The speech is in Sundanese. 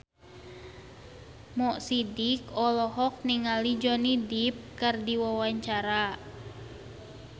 Mo Sidik olohok ningali Johnny Depp keur diwawancara